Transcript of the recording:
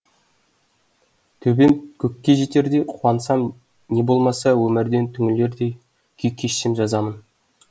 төбем көкке жетердей қуансам не болмаса өмірден түңілердей күй кешсем жазамын